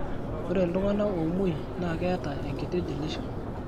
ore iltung'anak oomuo naa keetaa enkiti deletions.